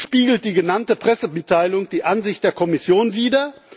Und spiegelt die genannte Pressemitteilung die Ansicht der Kommission wider?